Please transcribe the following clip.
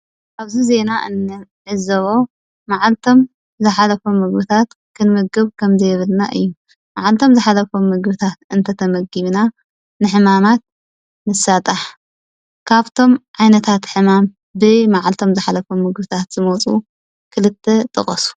ኣብዚ ዜና ንዕዞቦ መዓልቶሞ ዘሓለፎሞ ምግቢታት ክንምገብ ከም ዘይብልና እዩ። መዓልቶሞ ዝሓለፉ ምግብታት እንተተመግቢና ንሕማማት ንሳጣሕ። ካብቶሞ ዓይነታት ሕማም ብመዓልቶሞ ዝሓለፉ ሕማማት ዝመፁ ክልተ ጥቀሱ?